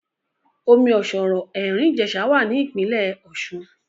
Omi ọ̀ṣọ̀rọ̀ Ẹ̀rín Ìjẹ̀sà wà ní Ìpínlẹ̀ Ọ̀ṣun